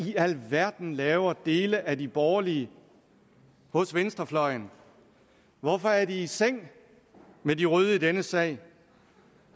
i alverden laver dele af de borgerlige hos venstrefløjen hvorfor er de i seng med de røde i denne sag